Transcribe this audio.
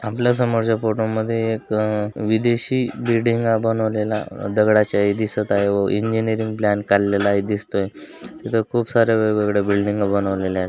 आपला समोरच्या फोटा मध्ये एक अ अह विदेशी बिल्डिंगा बनवलेला अह दगडाच्या दिसत आहे इंजिनिअरिंग प्लान काडलेला दिसतोय तिथ खूप सार्‍या वेगवेगळ बिल्डिंग बनवलेल आहेत.